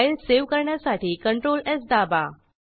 file save करण्यासाठी ctrls दाबा